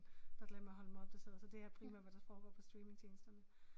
Der glemmer jeg at holde mig opdateret så det er primært hvad der foregår på streamingtjenesterne